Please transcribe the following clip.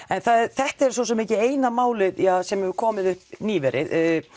þetta er svo sem ekki eina málið sem hefur komið upp nýverið